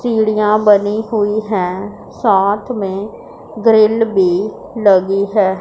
सीढ़ियां बनी हुई हैं साथ में ग्रिल भी लगी है।